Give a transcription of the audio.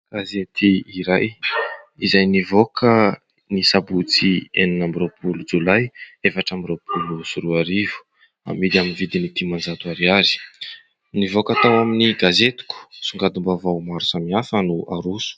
Gazety iray, izay nivoaka ny sabotsy, enina amby roapolo jolay efatra amby roapolo sy roa arivo. Amidy amin'ny dimanjato ariary. Nivoaka tao amin'ny "Gazetiko" songadim-baovao maro samihafa no naroso.